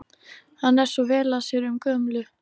Hann er svo vel að sér um gömlu